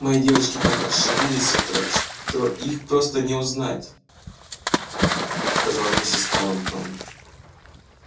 мои девочки так расшалились с утра что их просто не узнать сказала миссис тарлтон